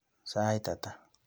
Sait ata?